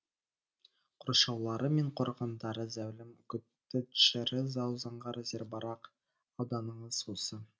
қоршаулары мен қорғандары зәулім коттедждері зау заңғар зербарақ ауданыңыз осы